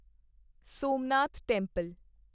Somnath temple